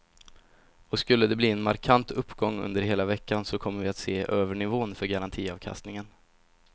Och skulle de bli en markant uppgång under hela veckan så kommer vi att se över nivån för garantiavkastningen.